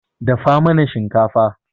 Dafa mana shinkafa.